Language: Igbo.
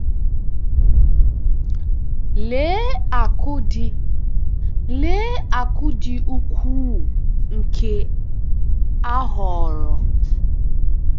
Lee akụ̀ dị Lee akụ̀ dị ukwuu nke a ghọrọ!